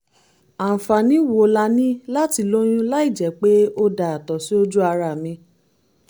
àǹfààní wo la ní láti lóyún láìjẹ́ pé ó da àtọ̀ sí ojú ara mi?